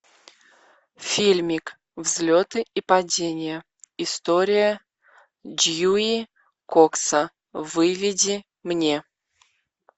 фильмик взлеты и падения история дьюи кокса выведи мне